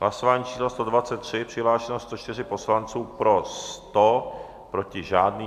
Hlasování číslo 123, přihlášeno 104 poslanců, pro 100, proti žádný.